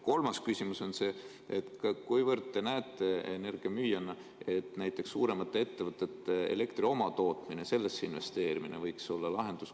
Kolmas küsimus on see, kuivõrd te energiamüüjana näete, et näiteks suuremates ettevõtetes elektri omatootmisesse investeerimine võiks olla lahendus.